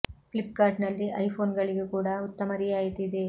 flip cart ನಲ್ಲಿ iPhone ಗಳಿಗೂ ಕೂಡ ಉತ್ತಮ ರಿಯಾಯಿತಿ ಇದೆ